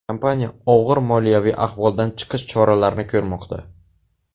Kompaniya og‘ir moliyaviy ahvoldan chiqish choralarini ko‘rmoqda.